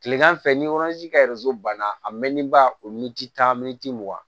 Kilegan fɛ ni ka banna a mɛnnen ba o tan mugan